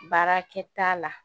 Baarakɛta la